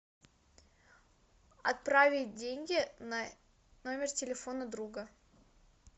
отправить деньги на номер телефона друга